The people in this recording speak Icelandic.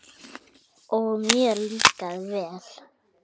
Og mér líkaði vel.